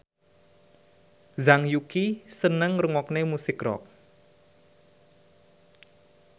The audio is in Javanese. Zhang Yuqi seneng ngrungokne musik rock